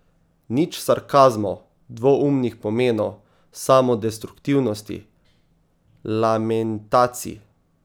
Nič sarkazmov, dvoumnih pomenov, samodestruktivnosti, lamentacij.